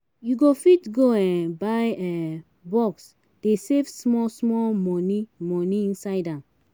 You go fit go um buy um box dey save small small money money inside am.